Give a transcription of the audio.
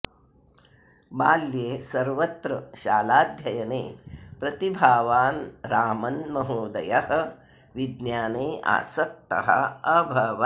बाल्ये सर्वत्र शालाध्ययने प्रतिभावान् रामन् महोदयः विज्ञाने आसक्तः अभवत्